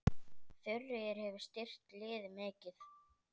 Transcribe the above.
Þuríður hefur styrkt liðið mikið.